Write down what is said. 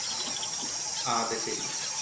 ആ അത് ശരി.